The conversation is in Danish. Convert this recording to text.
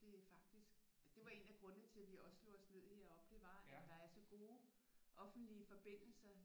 Det er faktisk det var en af grundene til at vi også slog os ned i heroppe det var at der er så gode offentlige forbindelser